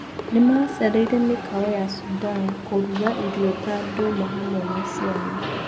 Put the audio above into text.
Nĩmacereire mĩkawa ya Sudan kũruga irio ta ndũma hamwe na ciana.